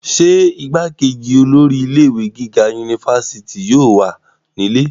ṣé igbákejì olórí ilé ìwé gíga unifásitì yóò wà nílé?